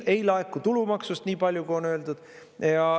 Ei laeku tulumaksust nii palju, kui on öeldud.